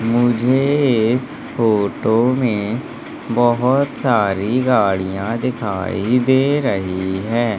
मुझे इस फोटो में बहोत सारी गाड़िया दिखाई दे रही है।